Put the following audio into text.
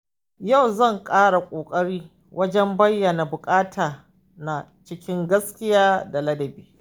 Yau zan ƙara ƙoƙari wajen bayyana buƙatuna cikin gaskiya da ladabi.